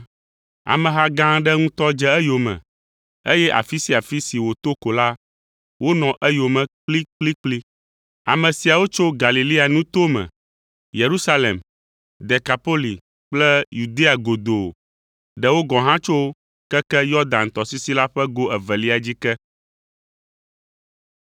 Ameha gã aɖe ŋutɔ dze eyome, eye afi sia afi si wòto ko la, wonɔ eyome kplikplikpli. Ame siawo tso Galilea nuto me, Yerusalem, Dekapoli kple Yudea godoo, ɖewo gɔ̃ hã tso keke Yɔdan tɔsisi la ƒe go evelia dzi ke.